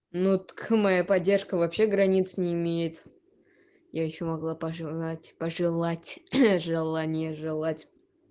ну так моя поддержка вообще границ не имеет я ещё могла пожелать пожелать желание желать